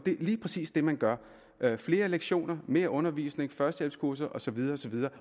jo lige præcis det man gør flere lektioner mere undervisning førstehjælpskurser og så videre og så videre